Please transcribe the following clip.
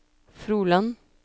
Froland